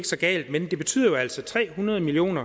så galt men det betyder jo altså tre hundrede million